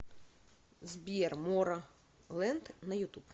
сбер моро моро лэнд на ютуб